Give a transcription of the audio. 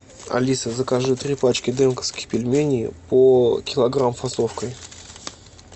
алиса закажи три пачки дымковских пельменей по килограмм фасовкой